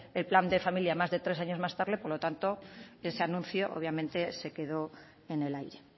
el plan de familia más de tres años tarde por lo tanto ese anuncio obviamente se quedó en el aire